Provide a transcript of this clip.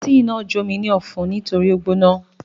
Tíì náà jó mi ní ọ̀fun nítorí ó gbóná.